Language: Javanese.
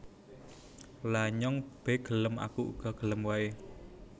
Lha nyong be gelem Aku uga gelem wae